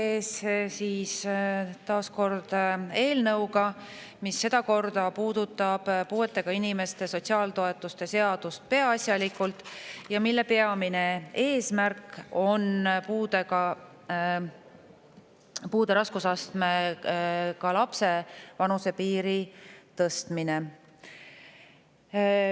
Olen teie ees taas kord eelnõuga, mis sedakorda puudutab peaasjalikult puuetega inimeste sotsiaaltoetuste seadust ja mille peamine eesmärk on puudega lapse vanuse piiri tõstmine.